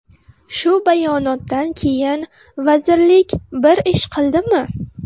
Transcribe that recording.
Shu bayonotdan keyin vazirlik bir ish qildimi?